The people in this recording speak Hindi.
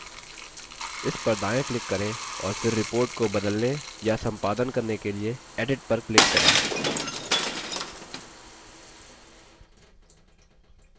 इस पर दायाँ click करें और फिर report को बदलने या सम्पादन करने के लिए edit पर click करें